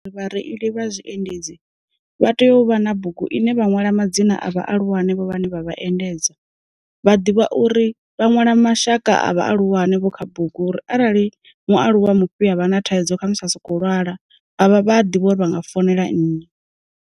Vha reili vha zwi endedzi, vha tea u vha na bugu ine vha nwala madzina a vhahulwane vho vhane vha vha endedza, vha ḓivha uri vha nwala mashaka a vhahulwane vho kha bugu uri arali mu aluwa mufhi a vha na thaidzo kha musi a soko lwala a vha vha a ḓivha uri vha nga founela nnyi.